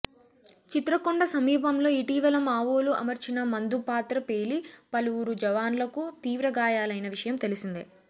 చిత్రకొండ సమీపంలో ఇటీవల మావోలు అమర్చిన మందు పాత్ర పేలి పలువురు జవాన్లకు తీవ్ర గాయాలైన విషయం తెలిసిందే